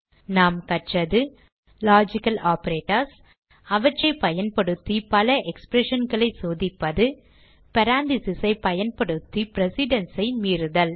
நாம் கற்றது logical operators அவற்றை பயன்படுத்தி பல expressionகளை சோதிப்பது parentheses ஐ பயன்படுத்தி precedence ஐ மீறுதல்